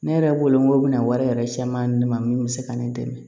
Ne yɛrɛ bolo ŋo bɛna wari yɛrɛ caman ne ma min bɛ se ka ne dɛmɛ